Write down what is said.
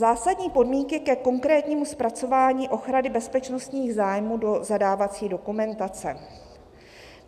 "Zásadní podmínky ke konkrétnímu zpracování ochrany bezpečnostních zájmů do zadávací dokumentace.